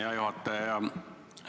Hea juhataja!